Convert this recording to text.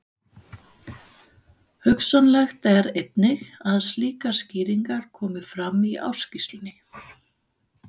Hugsanlegt er einnig að slíkar skýringar komi fram í ársskýrslunni.